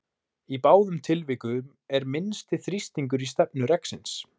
í báðum tilvikum er minnsti þrýstingur í stefnu reksins